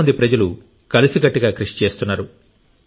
చాలా మంది ప్రజలు కలిసికట్టుగా కృషి చేస్తున్నారు